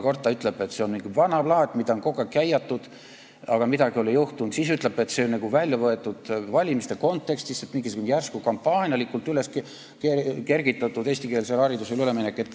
Kord ta ütles, et see on nagu vana plaat, mida on kogu aeg käiatud, aga midagi ei ole juhtunud, siis ütles, et see on nagu valimiste kontekstist välja võetud, mingisugune järsku, kampaanialikult tõstatatud eestikeelsele haridusele ülemineku teema.